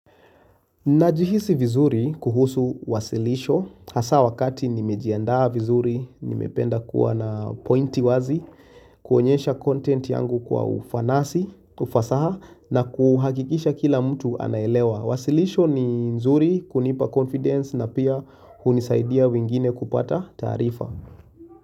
Najihisi vizuri kuhusu wasilisho, hasa wakati nimejiandaa vizuri, nimependa kuwa na pointi wazi, kuonyesha content yangu kwa ufanasi, ufasaha na kuhakikisha kila mtu anaelewa. Wasilisho ni nzuri kunipa confidence na pia hunisaidia wengine kupata taarifa.